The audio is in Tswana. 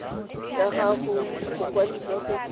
ya gago go mokwadise go